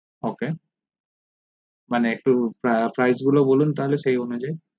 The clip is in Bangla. ok মানে একটু price গুলো বলুন তালে সেই অনুযায়ী